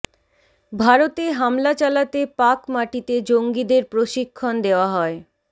ভারতে হামলা চালাতে পাক মাটিতে জঙ্গিদের প্রশিক্ষণ দেওয়া হয়